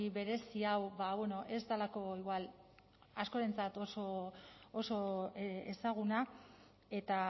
berezi hau ez delako igual askorentzat oso ezaguna eta